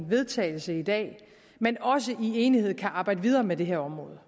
vedtagelse i dag men også i enighed kan arbejde videre med det her område